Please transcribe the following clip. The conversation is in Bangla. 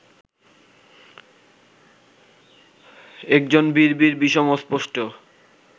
একজন বিড়বিড় বিষম অস্পষ্ট